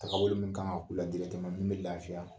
Tagabolo min kan ka kɛ u la min bɛ lafiya